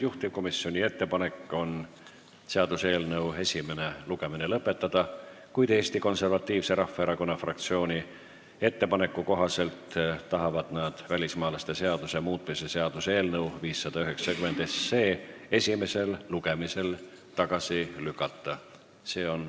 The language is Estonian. Juhtivkomisjoni ettepanek on seaduseelnõu esimene lugemine lõpetada, kuid Eesti Konservatiivse Rahvaerakonna fraktsioon on teinud ettepaneku välismaalaste seaduse muutmise seaduse eelnõu 590 esimesel lugemisel tagasi lükata.